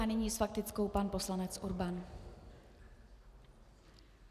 A nyní s faktickou pan poslanec Urban.